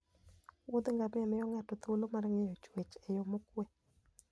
Wuodh ngamia miyo ng'ato thuolo mar ng'iyo chwech e yo mokuwe.